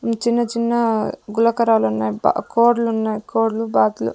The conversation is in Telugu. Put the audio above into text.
ఉమ్ చిన్న-చిన్న గులకరాలు ఉన్నాయి బా కోడి లు ఉన్నాయి కోడులు బాతులు --